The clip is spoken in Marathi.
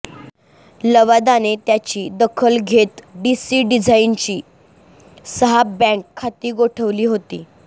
लवादाने त्याची दखल घेत डीसी डिझाईनची सहा बँक खाती गोठवली होती